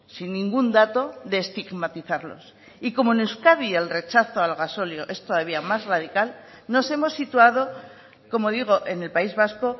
sin ningún dato de estigmatizarlos y como en euskadi el rechazo al gasóleo es todavía más radical nos hemos situado como digo en el país vasco